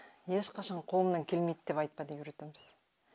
ешқашан қолымнан келмейді деп айтпа деп үйретеміз